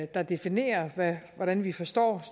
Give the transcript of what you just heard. der definerer hvordan vi forstår